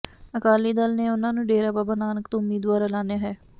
ਅਕਾਲੀ ਦਲ ਨੇ ਉਨ੍ਹਾਂ ਨੂੰ ਡੇਰਾ ਬਾਬਾ ਨਾਨਕ ਤੋਂ ਉਮੀਦਵਾਰ ਐਲਾਨਿਆ ਹੈ